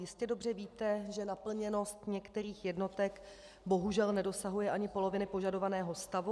Jistě dobře víte, že naplněnost některých jednotek bohužel nedosahuje ani poloviny požadovaného stavu.